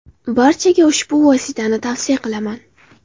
Barchaga ushbu vositani tavsiya qilaman.